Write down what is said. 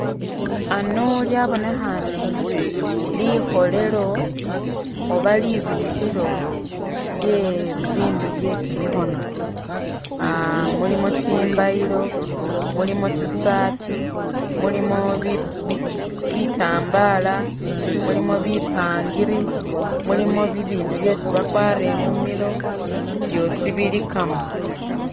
Ano lyabonekhane likholelo oba libikhilo lye bibindu bye'kimikhono aah mulimo chimbayilo mulimo tsisaati mulimo bi bi bitambala mulimo bipangiri, mulimo bibindu byesi bakwara imumilo byosi bilikamo